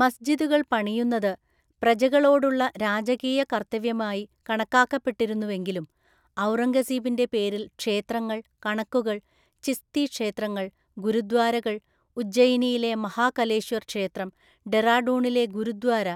മസ്ജിദുകൾ പണിയുന്നത് പ്രജകളോടുള്ള രാജകീയ കർത്തവ്യമായി കണക്കാക്കപ്പെട്ടിരുന്നുവെങ്കിലും, ഔറംഗസീബിന്റെ പേരിൽ ക്ഷേത്രങ്ങൾ, കണക്കുകൾ, ചിസ്തി ക്ഷേത്രങ്ങൾ, ഗുരുദ്വാരകൾ, ഉജ്ജയിനിയിലെ മഹാകലേശ്വർ ക്ഷേത്രം, ഡെറാഡൂണിലെ ഗുരുദ്വാര,